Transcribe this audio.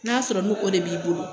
N'a sɔrɔ ni o de b'i bolo.